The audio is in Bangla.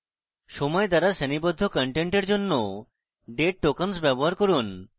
সময় দ্বারা শ্রেণীবদ্ধ contents জন্য date tokens ব্যবহার করুন